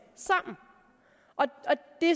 det